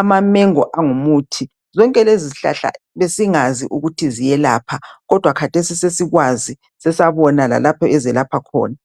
amamango angumuthi zonke lezi zihlahla besingazi ukuthi ziyelapha kodwa khathesi sesikwazi seabona lalapho ezelapha khona.